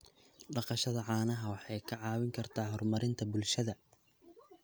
Dhaqashada caanaha waxay ka caawin kartaa horumarinta bulshada.